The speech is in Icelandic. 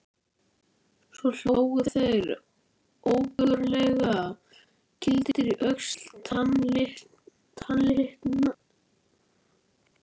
Svo hlógu þeir ógurlega, kýldir í öxlum, tannlitlir.